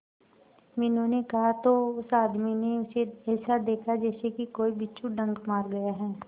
मीनू ने कहा तो उस आदमी ने उसे ऐसा देखा जैसे कि कोई बिच्छू डंक मार गया है